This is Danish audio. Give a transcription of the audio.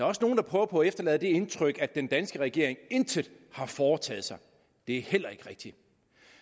også nogle der prøver på at efterlade det indtryk at den danske regering intet har foretaget sig det er heller ikke rigtigt